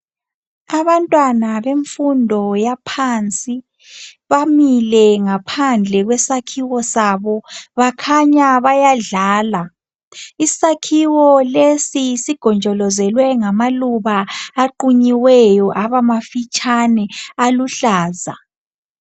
Abantwana bemfundo yaphansi bamile. ngaphandle kwesakhiwo sabo .Bakhanya bayadlala ,isakhiwo lesi sigonjolozelwe ngamaluba aqunyiweyo abamafitshane aluhlaza .